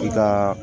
I ka